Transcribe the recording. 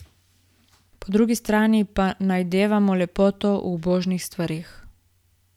Po drugi strani pa najdevamo lepoto v ubožnih stvareh.